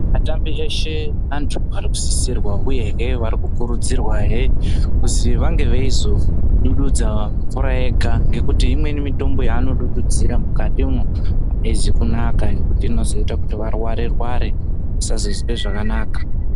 Atambi eshe antu ari kusisirwa uyehe vari kukurudzirwahe kuzi vange veizo dududza mvura yega ngekuti imweni mitombo yanodududzira mukatimwo ayizi kunaka ngekuti inozoita kuti varware rware kusazozwe zvakanaka.